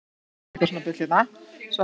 ætlið þið ekki að fá ykkur snúning?